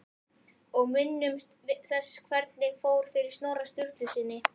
Og minnumst þess hvernig fór fyrir Snorra Sturlusyni!